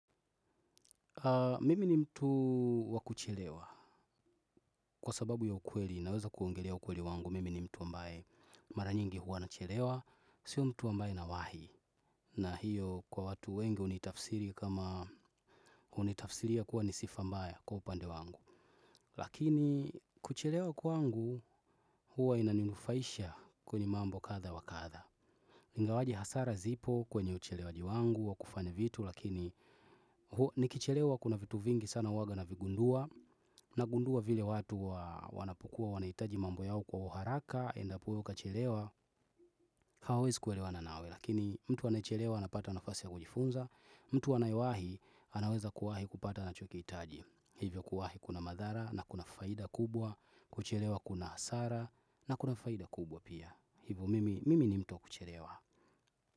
Mimi ni mtu wakuchelewa kwa sababu ya ukweli naweza kuongelea ukweli wangu. Mimi ni mtu ambaye maranyingi huwa nachelewa. Sio mtu ambaye na wahi na hiyo kwa watu wengi unitafsiri kama unitafsiria kuwa ni sifa mbaya kwa upande wangu. Lakini kuchelewa kwangu huwa inaninufaisha kwenye mambo katha wa katha ingawaje hasara zipo kwenye uchelewaji wangu wa kufanya vitu. Lakini nikichelewa kuna vitu vingi sana uwaga navigundua. Nagundua vile watu wanapokua wanaitaji mambo yao kwa uharaka. Endapuweo kachelewa hawezi kuelewana nawe. Lakini mtu anaechelewa anapata nafasi ya kujifunza. Mtu anaewahi anaweza kuwahi kupata anachokiitaji. Hivyo kuwahi kuna madhara na kuna faida kubwa. Kuchelewa kuna asara na kuna faida kubwa pia. Hivo mimi mimi ni mtu kuchelewa.